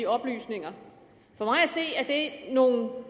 oplysninger for mig at se er det nogle